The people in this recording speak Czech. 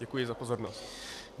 Děkuji za pozornost.